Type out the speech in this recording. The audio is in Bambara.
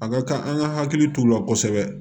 A ka kan an ka hakili t'u la kosɛbɛ